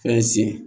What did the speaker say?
Fɛn sen